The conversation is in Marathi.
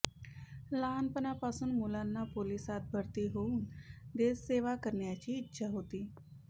लहानपणापासून मुलांना पोलिसात भरती होऊन देशसेवा करण्याची इच्छा होती